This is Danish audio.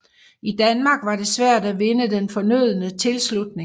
I Danmark var det svært at vinde den fornødne tilslutning